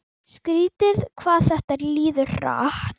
Skrítið hvað þetta líður hratt.